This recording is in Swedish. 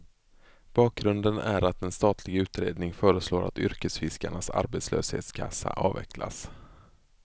Bakgrunden är att en statlig utredning föreslår att yrkesfiskarnas arbetslöshetskassa avvecklas.